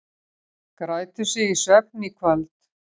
Grætur sig í svefn í kvöld